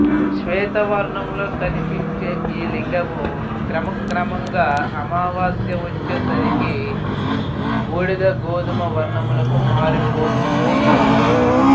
శ్వేతవర్ణంలో కనిపించే ఈ లింగము క్రమ క్రమముగా అమావాస్య వచ్చే సరికి బూడిదగోధుమ వర్ణమునకు మారిపోతుంది